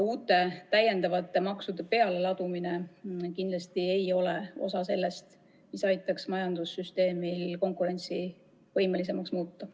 Uute maksude pealeladumine kindlasti ei ole osa sellest, mis aitaks majandussüsteemi konkurentsivõimelisemaks muuta.